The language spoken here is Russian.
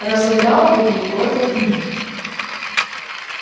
разодрал бы ей горло вмиг